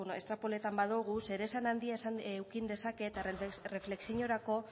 estrapolatzen badugu zeresan handia eduki dezake eta erreflexiorako